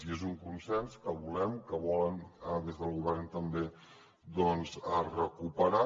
i és un consens que volem que volen des del govern també recuperar